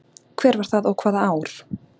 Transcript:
Hver var það og hvaða ár?